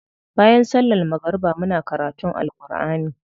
Bayan sallar magariba muna karutun Alkur'ani.